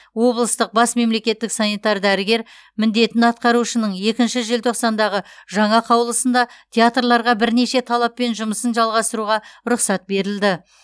облыстық бас мемлекеттік санитар дәрігер міндетін атқарушының екінші желтоқсандағы жаңа қаулысында театрларға бірнеше талаппен жұмысын жалғастыруға рұқсат берілді